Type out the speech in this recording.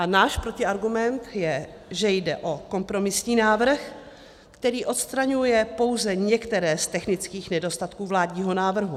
A náš protiargument je, že jde o kompromisní návrh, který odstraňuje pouze některé z technických nedostatků vládního návrhu.